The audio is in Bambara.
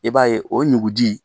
I b'a ye o ɲuku ji